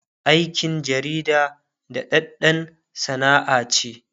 aikin jarida daɗaɗɗan Sana'a ce